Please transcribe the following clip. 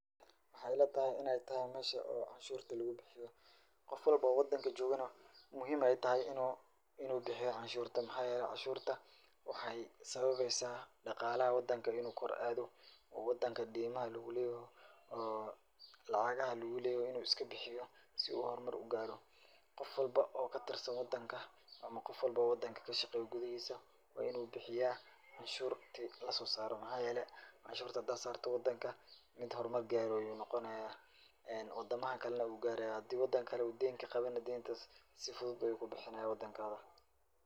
Waxa ila tahy inay tahay meesha oo canshuurta lugu bixiyo. Qof walbo oo wadanka joogana muhiim ay tahay in uu in uu bixiyo canshuurta. Maxaa yeelay canshuurta waxay sababaysaa dhaqaalaha wadanka in uu kor aado, wadanka deemaha lugu leeyahay oo lacaga lugu leeyahay in uu iska bixiyo si uu hor mar u gaaro. Qof walbo oo ka tirsan wadanka ama qof walba oo wadanka ka shaqeeya gudihiisa waa in uu bixiyaa canshuurta la soo saaro. Maxaa yeelay, canshuurta hadaa saarto wadanka mid hor mar gaaro ayuu noqanayaa wadamaha kalena wuu gaaraya. Hadii wadanka kale deen ka qabayna deentas si fudud ayuu ku bixinayaa wadankaada.